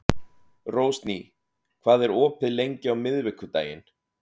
Rósný, hvað er opið lengi á miðvikudaginn?